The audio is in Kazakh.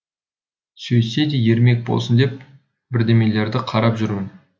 сөйтсе де ермек болсын деп бірдемелерді қарап жүрмін